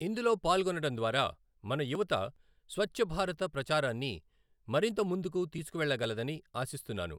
ఇందులో పాల్గొనడం ద్వారా మన యువత స్వఛ్ఛభారత ప్రచారాన్ని మరింత ముందుకు తీసుకువెళ్ళగలదని ఆశిస్తున్నాను.